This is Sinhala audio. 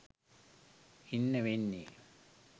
ඉන්න වෙන්නේ